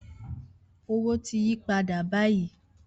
Owo ti yi pada bayi.